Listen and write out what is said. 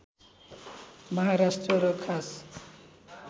महाराष्ट्र र खास